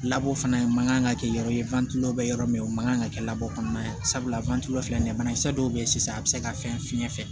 labɔ fana man kan ka kɛ yɔrɔ ye bɛ yɔrɔ min o man kan ka kɛ kɔnɔna ye sabula filɛ nin ye banakisɛ dɔw bɛ yen sisan a bɛ se ka fɛn fiɲɛ fɛ